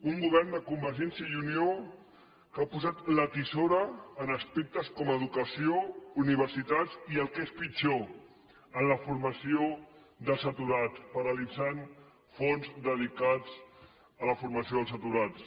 un govern de convergència i unió que ha posat la tisora en aspectes com educació universitats i el que és pitjor en la formació dels aturats paralitzant fons dedicats a la formació dels atu rats